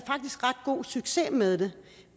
ret god succes med det